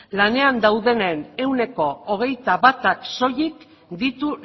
lanean daudenen ehuneko hogeita batak soilik ditu